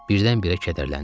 Birdən-birə kədərləndim.